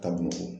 Ka b'u kɔ